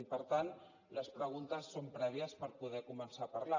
i per tant les preguntes són prèvies per poder començar a parlar